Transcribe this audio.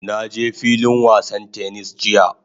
Na je filin wasan "tennis" jiya.